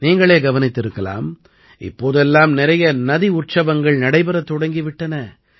நீங்களே கவனித்திருக்கலாம் இப்போதெல்லாம் நிறைய நதி உற்சவங்கள் நடைபெறத் தொடங்கி விட்டன